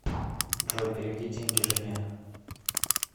джой переведи деньги жене